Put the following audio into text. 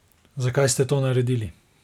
Zakaj ste to naredili?